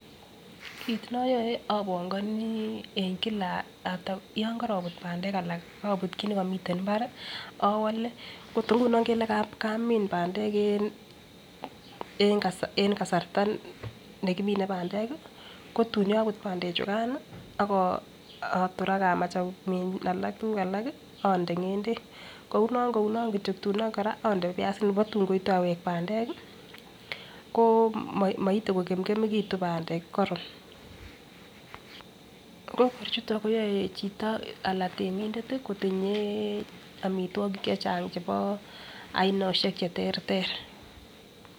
Kit noyoe obongoni en kila after yon korobut pandek alak obut kit nekomiten imbar owole okot inguno Ingele kamim pandek en kasarta en kasarta nekimine pandek kotun koput pandek chukan mii ak otor ak amach amin tukuk alak kii onde ngendek kouno kouno kityok tun onde piasinik ko tun koite awek ko moite ko kemkemekitun pandek koron tukuk chuto koyoen chito anan temindet tii kotinye omitwokik chechang chebo ainoshek cheterter.